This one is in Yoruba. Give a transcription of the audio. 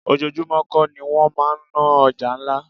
Ojoojúmó kó ni wọ́n máa ń ná ọjà ńlá.